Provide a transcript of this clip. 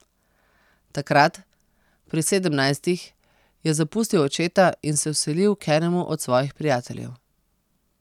Takrat, pri sedemnajstih, je zapustil očeta in se vselil k enemu od svojih prijateljev.